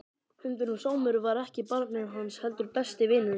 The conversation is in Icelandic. Hundurinn Sámur var ekki barnið hans heldur besti vinurinn.